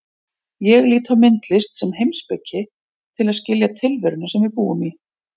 Ég lít á myndlist sem heimspeki til að skilja tilveruna sem við búum í.